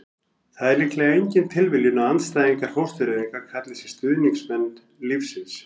það er líklega engin tilviljun að andstæðingar fóstureyðinga kalli sig stuðningsmenn lífsins